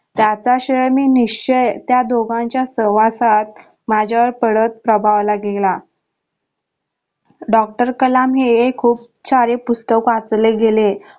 जाता शय मी निश्चय त्या दोघांच्या सहवासात माझावर पडत प्रभावाला गेला doctor कलाम हे खूप सारे पुस्तक वाचले गेले.